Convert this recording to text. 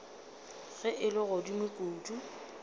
ge e le godimo kudu